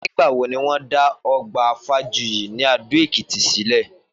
Nígbà wo ni wọ́n dá ọgbà Fajuyi ní Adó-Èkìtì sílẹ̀?